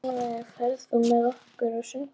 Rannver, ferð þú með okkur á sunnudaginn?